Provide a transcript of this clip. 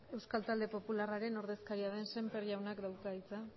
euskal talde popularraren ordezkaria den sémper jaunak dauka hitza